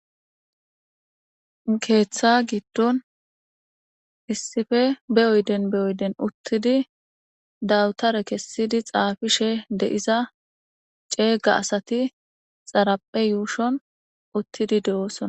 keeththa giddon issife beyoyden beyoyden uttidi dawutare kessidi xaafishe de7iza ceeyga asati xaraphe yuushon uttidi de7oosona